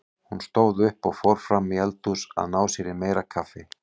Hún stóð upp og fór fram í eldhús að ná sér í meira kaffi.